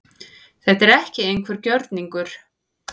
Þetta er ekki einhver gjörningur